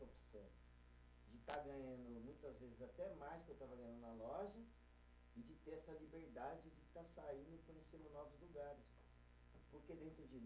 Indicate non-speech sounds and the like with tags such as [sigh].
[unintelligible] De estar ganhando muitas vezes até mais do que eu estava ganhando na loja e de ter essa liberdade de estar saindo e conhecendo novos lugares, porque dentro de